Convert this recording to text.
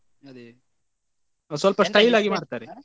ಅದೇ ಸ್ವಲ್ಪ ಆಗಿ ಮಾಡ್ತಾರೆ.